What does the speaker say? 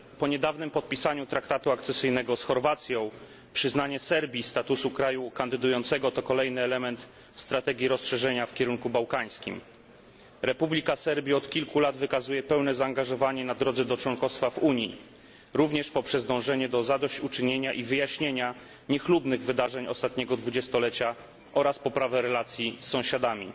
Po niedawnym podpisaniu traktatu akcesyjnego z Chorwacją przyznanie Serbii statusu kraju kandydującego to kolejny element strategii rozszerzenia w kierunku bałkańskim. Republika Serbii od kilku lat wykazuje pełne zaangażowanie na drodze do członkostwa w Unii, również poprzez dążenie do zadośćuczynienia i wyjaśnienia niechlubnych wydarzeń ostatniego dwudziestolecia oraz poprawę relacji z sąsiadami.